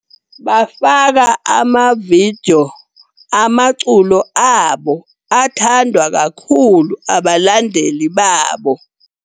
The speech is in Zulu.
Bafaka ama-video amaculo abo, athandwa kakhulu abalandeli babo.